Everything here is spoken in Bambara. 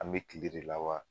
An bɛ kile de la wa?